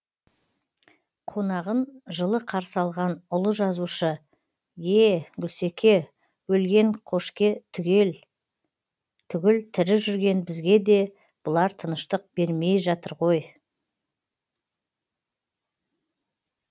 қонағын жылы қарсы алған ұлы жазушы е гүлсеке өлген қошке түгіл тірі жүрген бізге де бұлар тыныштық бермей жатыр ғой